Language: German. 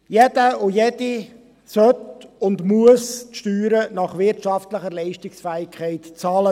Jeder und jede soll und muss die Steuern nach wirtschaftlicher Leistungsfähigkeit bezahlen.